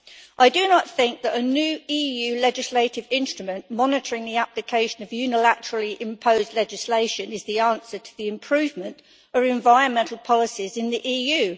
I do not think that a new EU legislative instrument monitoring the application of unilaterally imposed legislation is the answer to the improvement of environmental policies in the EU.